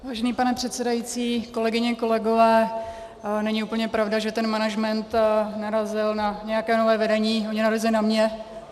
Vážený pane předsedající, kolegyně, kolegové, není úplně pravda, že ten management narazil na nějaké nové vedení, oni narazili na mě.